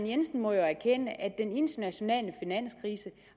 jensen må jo erkende at den internationale finanskrise